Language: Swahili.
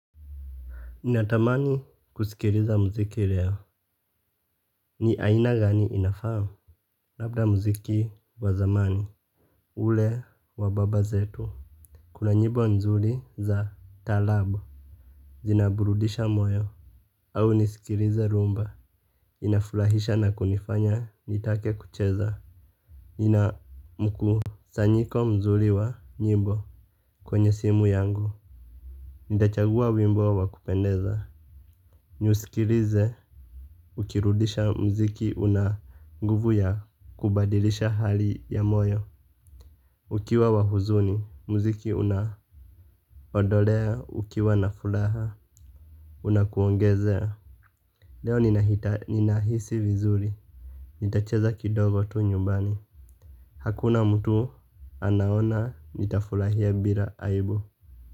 Natamani kusikiliza mziki leo. Ni aina gani inafahamu. Labda mziki wazamani. Ule wa baba zetu. Kuna nyimbo nzuri za taarabu. Zinaburudisha moyo au nisikilize rhumba. Inafurahisha na kunifanya nitake kucheza. Nina mkusanyiko mzuri wa nyimbo kwenye simu yangu. Nitachagua wimbo wa kupendeza. Niusikilize. Ukirudisha mziki una nguvu ya kubadilisha hali ya moyo. Ukiwa wa huzuni, mziki unahodolea, ukiwa nafuraha, unakuongezea. Leo ninahisi vizuri, nitacheza kidogo tu nyumbani. Hakuna mtu anaona, nitafurahia bila aibu.